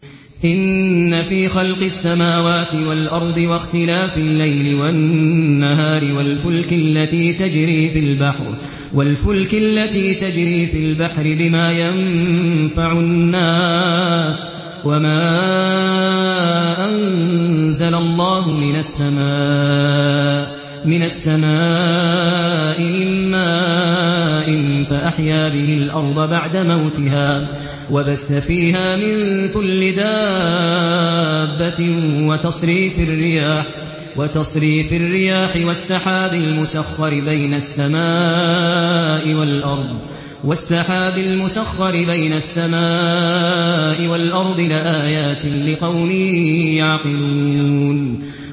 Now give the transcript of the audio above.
إِنَّ فِي خَلْقِ السَّمَاوَاتِ وَالْأَرْضِ وَاخْتِلَافِ اللَّيْلِ وَالنَّهَارِ وَالْفُلْكِ الَّتِي تَجْرِي فِي الْبَحْرِ بِمَا يَنفَعُ النَّاسَ وَمَا أَنزَلَ اللَّهُ مِنَ السَّمَاءِ مِن مَّاءٍ فَأَحْيَا بِهِ الْأَرْضَ بَعْدَ مَوْتِهَا وَبَثَّ فِيهَا مِن كُلِّ دَابَّةٍ وَتَصْرِيفِ الرِّيَاحِ وَالسَّحَابِ الْمُسَخَّرِ بَيْنَ السَّمَاءِ وَالْأَرْضِ لَآيَاتٍ لِّقَوْمٍ يَعْقِلُونَ